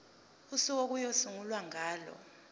usuku okuyosungulwa ngalo